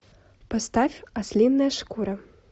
поставь ослиная шкура